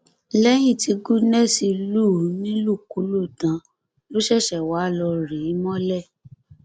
lẹyìn tí goodness lù ú nílùkulù tán ló ṣẹṣẹ wáá lọọ rí i mọlẹ